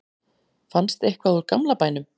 fannst eitthvað úr gamla bænum